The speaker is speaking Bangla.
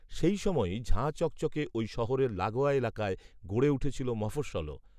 সেই সময়েই ঝাঁ চকচকে ওই শহরের লাগোয়া এলাকায় গড়ে উঠেছিল মফস্বলও